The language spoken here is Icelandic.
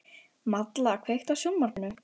Malla, kveiktu á sjónvarpinu.